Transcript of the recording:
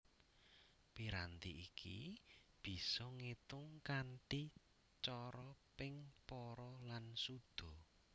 Piranti iki bisa ngetung kanthi cara ping para lan suda